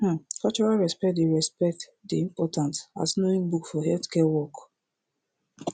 um cultural respect dey respect dey important as knowing book for healthcare work